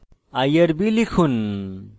irb লিখুন